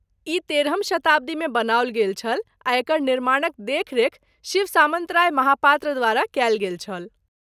ई तेरहम शताब्दीमे बनाओल गेल छल आ एकर निर्माणक देखरेख शिव सामन्तराय महापात्र द्वारा कयल गेल छल।